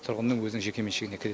тұрғынның өзінің жекеменшігіне кіреді